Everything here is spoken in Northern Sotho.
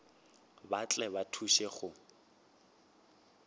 ba tle ba thuše go